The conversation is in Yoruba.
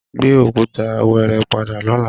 Gbé òkúta wẹ́ẹ́rẹ́ padà lọ́la!